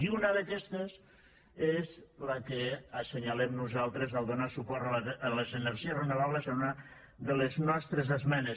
i una d’aquestes és la que assenyalem nosaltres al donar suport a les energies renovables en una de les nostres esmenes